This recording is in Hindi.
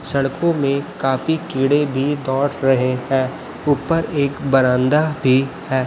सड़कों में काफी कीड़े भी दौड़ रहे हैं ऊपर एक बरांदा भी है।